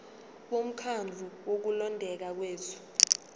bomkhandlu wokulondeka kwethu